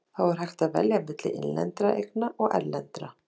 Sumar frumsendurnar hafa valdið heilabrotum.